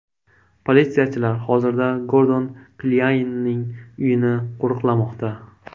Politsiyachilar hozirda Gordon Klyaynning uyini qo‘riqlamoqda.